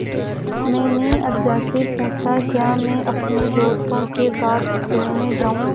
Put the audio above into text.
मैंने अज्जा से पूछा क्या मैं अपने दोस्तों के साथ खेलने जाऊँ